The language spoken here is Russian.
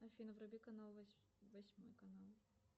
афина вруби канал восьмой канал